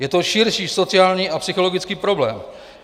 Je to širší sociální a psychologický problém.